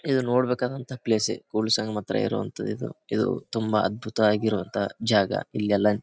ಇದು ನೋಡಬೇಕಾದಂತ ಪ್ಲೇಸೆ ಕೂಡಲ ಸಂಗಮದ ಹತ್ರ ಇರುವಂತದು ಇದು ಇದು ತುಂಬಾ ಅದ್ಭುತವಾಗಿರುವಂತಹ ಜಾಗ ಇಲ್ಲೆಲ್ಲ --